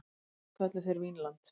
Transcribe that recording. Landið kölluðu þeir Vínland.